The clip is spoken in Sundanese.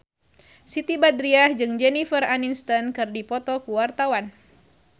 Siti Badriah jeung Jennifer Aniston keur dipoto ku wartawan